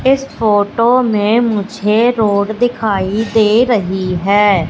इस फोटो में मुझे रोड दिखाई दे रही है।